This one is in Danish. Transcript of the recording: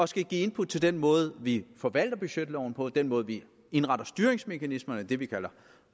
skal give input til den måde vi forvalter budgetloven på og den måde vi indretter styringsmekanismerne det vi kalder